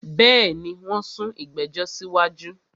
Bẹ́ẹ̀ni, wón sún ìgbẹ̀jọ̀ sí wájú